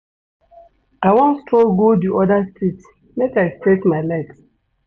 I wan stroll go di oda street make I stretch my legs.